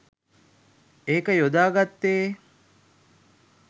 ඒක යොදාගත්තේ.